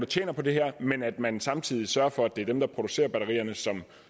tjener på det her men at man samtidig sørger for at det er dem der producerer batterierne